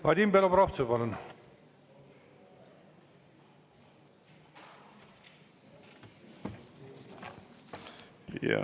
Vadim Belobrovtsev, palun!